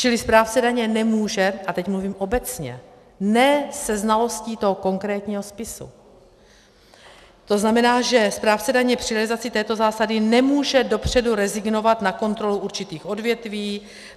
Čili správce daně nemůže, a teď mluvím obecně, ne se znalostí toho konkrétního spisu, to znamená, že správce daně při realizaci této zásady nemůže dopředu rezignovat na kontrolu určitých odvětví.